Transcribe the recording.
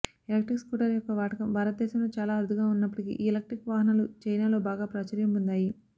electric scooter యొక్క వాడకం భారతదేశంలో చాలా అరుదుగా ఉన్నప్పటికీ ఈ ఎలక్ట్రిక్ వాహనాలు చైనాలో బాగా ప్రాచుర్యం పొందాయి